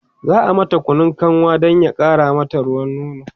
za'a mata Kunun kanwa Dan ya ƙara mata ruwan nono